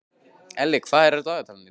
Elli, hvað er í dagatalinu í dag?